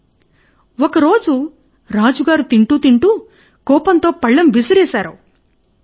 ఇలాగే ఒక రోజు రాజుగారు తింటూ తింటూ కోపముతో పళ్లెం విసిరివేసాడు